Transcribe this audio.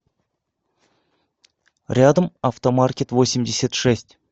рядом автомаркетвосемьдесятшесть